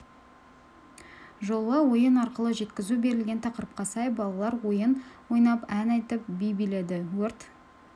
жолы ойын арқылы жеткізу берілген тақырыпқа сай балалар ойын ойнап ән айтып би биледі өрт